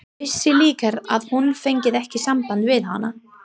Vissi líka að hún fengi ekki samband við hana.